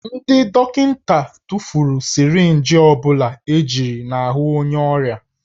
Ndị dọkịta tụfuru sirinji ọ bụla ejiri n'ahụ onye ọrịa